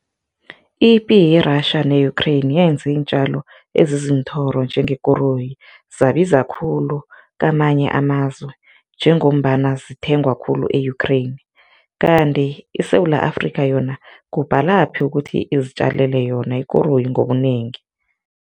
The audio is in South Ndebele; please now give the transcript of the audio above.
Ipi ye-Russia ne-Ukraine yenze iintjalo eziziinthoro njengekoroyi zabiza khulu kamanye amazwe njengombana zithengwa khulu e-Ukraine, kanti iSewula Afrika yona kubhalaphi ukuthi izitjalele yona ikoroyi ngobunengi?